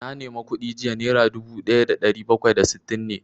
Na nema kuɗi jiya, naira dubu ɗaya da ɗari bakwai da sittin ne